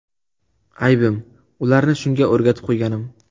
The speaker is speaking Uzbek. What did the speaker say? Aybim – ularni shunga o‘rgatib qo‘yganim.